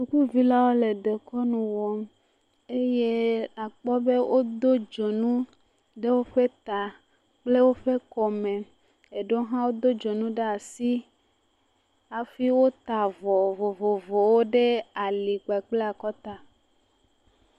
Sukuvilawo le dekɔnu wɔm eye akpɔ be wodo dzonu ɖe woƒe ta kple woƒe kɔme. Eɖewo hã wodo dzonu ɖe asi hafi wota vɔ vovovowo ɖe ali kpa kple akɔta.